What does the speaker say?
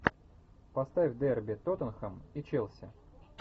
поставь дерби тоттенхэм и челси